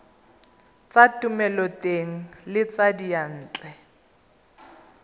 tsa thomeloteng le tsa diyantle